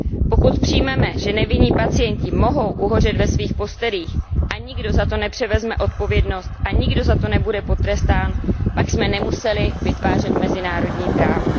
Pokud přijmeme, že nevinní pacienti mohou uhořet ve svých postelích a nikdo za to nepřevezme odpovědnost a nikdo za to nebude potrestán, pak jsme nemuseli vytvářet mezinárodní právo.